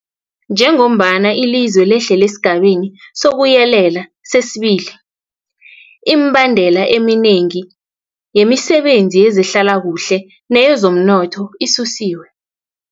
Njengombana ilizwe lehlela esiGabeni sokuYelela sesi-2, imibandela eminengi yemisebenzi yezehlalakuhle neyezomnotho isusiwe.